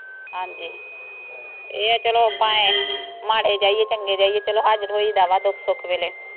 ਹਾਂਜੀ ਇਹ ਆ ਚਲੋ ਆਪਾਂ ਮਾੜੇ ਜਾਈਏ ਚੰਗੇ ਜਾਈਏ ਚਲੋ ਹਾਜ਼ਿਰ ਹੋਇਦਾ ਦੁੱਖ ਸੁੱਖ ਵੇਲੇ